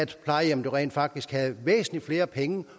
plejehjemmet jo rent faktisk havde væsentlig flere penge